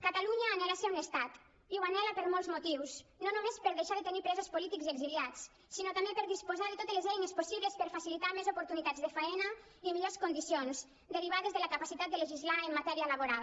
catalunya anhela ser un estat i ho anhela per molts motius no només per deixar de tenir presos polítics i exiliats sinó també per disposar de totes les eines possibles per facilitar més oportunitats de feina i millors condicions derivades de la capacitat de legislar en matèria laboral